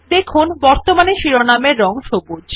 দেখুন বর্তমানে শিরোনাম এর রং সবুজ